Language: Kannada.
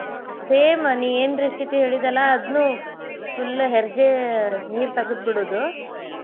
Same ನೀ ಏನ್ recipe ಹೇಳಿದ್ಯಲ್ಲಾ ಅದ್ನು full ಹೆರ್ಜೆ ನೀರ್ ತಗದ್ ಬಿಡೋದು.